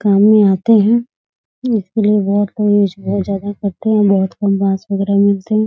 काम में आते हैं इसलिए बहुत यूज़ ज्यादा करते हैं बहुत कम घास वगेरह मिलते हैं ।